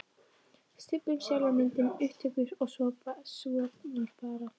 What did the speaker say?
Stubbnum, sjálfa myndina, upptökurnar og svo var bara